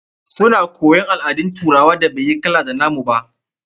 Su na koyon al'adun turawan da bai yi kala ɗaya da nna mu ba.